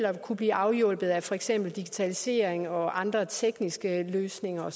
at kunne blive afhjulpet af for eksempel digitalisering og andre tekniske løsninger